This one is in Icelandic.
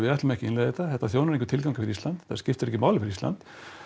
ætlum ekki að innleiða þetta þetta þjónar engum tilgangi fyrir Ísland þetta skiptir ekki máli fyrir Ísland